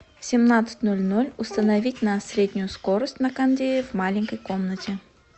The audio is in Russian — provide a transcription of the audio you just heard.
в семнадцать ноль ноль установить на среднюю скорость на кондее в маленькой комнате